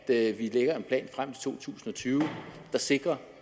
at vi lægger en plan frem til to tusind og tyve der sikrer